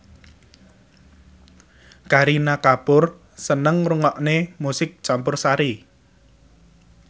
Kareena Kapoor seneng ngrungokne musik campursari